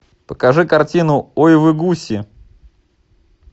покажи картину ой вы гуси